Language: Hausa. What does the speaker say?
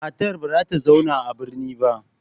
Matar ba za ta zauna a birnin ba.